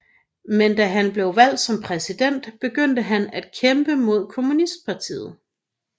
Men da han blev valgt som præsident begyndte han at kæmpe mod kommunistpartiet